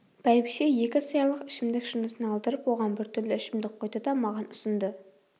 бәйбіше екі сыярлық ішімдік шынысын алдырып оған біртүрлі ішімдік құйды да маған ұсынды